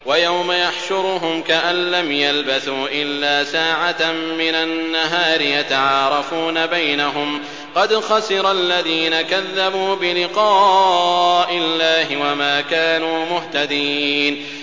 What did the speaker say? وَيَوْمَ يَحْشُرُهُمْ كَأَن لَّمْ يَلْبَثُوا إِلَّا سَاعَةً مِّنَ النَّهَارِ يَتَعَارَفُونَ بَيْنَهُمْ ۚ قَدْ خَسِرَ الَّذِينَ كَذَّبُوا بِلِقَاءِ اللَّهِ وَمَا كَانُوا مُهْتَدِينَ